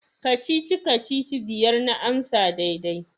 Kacici-kacici biyar na amsa daidai.